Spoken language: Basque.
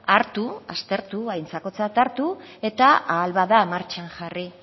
hartu aztertu aintzakotzat hartu eta ahal bada martxan jarri